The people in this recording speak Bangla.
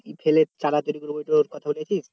ওর কথা বলেছিস?